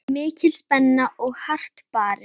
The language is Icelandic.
Mikil spenna og hart barist.